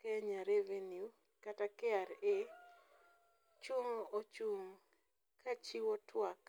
Kenya Revenue kata KRA ochung' ka chiwo tuak